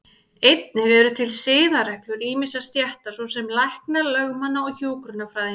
Einnig eru til siðareglur ýmissa stétta, svo sem lækna, lögmanna og hjúkrunarfræðinga.